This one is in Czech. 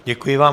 Děkuji vám.